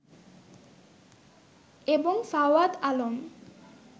এবং ফাওয়াদ আলম